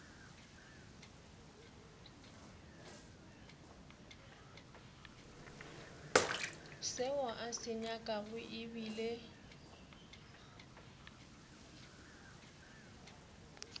seo a se nyakago ebile